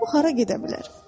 O hara gedə bilər?